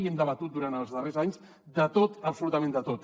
i hem debatut durant els darrers anys de tot absolutament de tot